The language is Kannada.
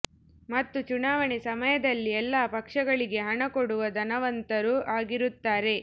ಮತ್ತು ಚುನಾವಣೆ ಸಮಯದಲ್ಲಿ ಎಲ್ಲ ಪಕ್ಷಗಳಿಗೆ ಹಣ ಕೊಡುವ ಧನವಂತರೂ ಆಗಿರುತ್ತಾರೆ